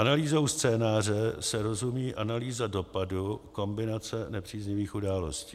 Analýzou scénáře se rozumí analýza dopadu kombinace nepříznivých událostí.